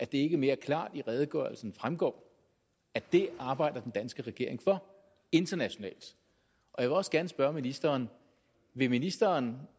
det ikke mere klart i redegørelsen fremgår at det arbejder den danske regering for internationalt jeg vil også gerne spørge ministeren vil ministeren